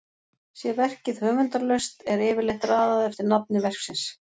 sé verkið höfundarlaust er yfirleitt raðað eftir nafni verksins